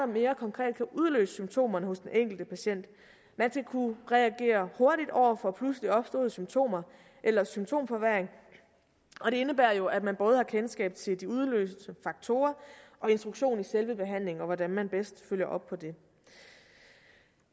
mere konkret kan udløse symptomerne hos den enkelte patient man skal kunne reagere hurtigt over for pludselig opståede symptomer eller symptomforværring og det indebærer jo at man både har kendskab til de udløsende faktorer og instruktion i selve behandlingen og hvordan man bedst følger op på det